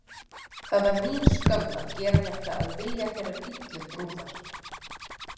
Það var mín skömm að gera þetta að vilja þeirrar illu brúðar.